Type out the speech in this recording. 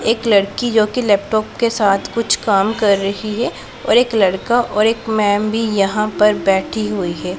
एक लड़की जो कि लैपटॉप के साथ कुछ काम कर रही है और एक लड़का और एक मैम भी यहां पर बैठी हुई है।